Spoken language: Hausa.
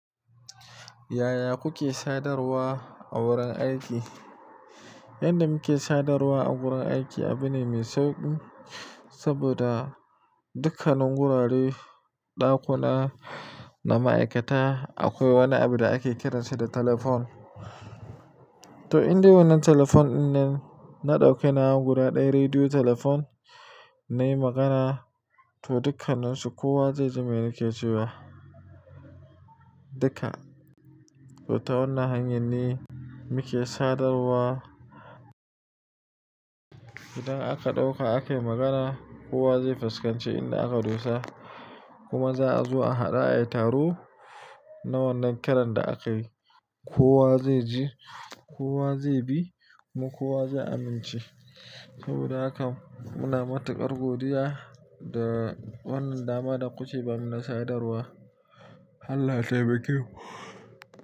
Yaya kuke sadarwa a wurin aiki? Yanda muke sadarwa a wurin aiki abu ne mai sauƙi, saboda dukkanin gurare, ɗakuna na ma'aikata akwai wani abu da ake kiransa da telefon. To, indai wannan telefon dinnan na ɗauke nawa guda ɗaya rediyo telefon na yi magana to dukkaninsu kowa zai ji me nake cewa, duka. To, ta wannan hanyar ne muke sadarwa. Idan aka ɗauka aka yi magana kowa zai fuskanci inda aka dosa kuma za a zo a hadu ayi taro na wannan kiran da akayi. Kowa zai ji, kowa zai bi kuma kowa zai amince. Saboda haka muna matuƙar godiya da wannan dama da ku ke ban mu na sadarwa. Allah ya taimake mu.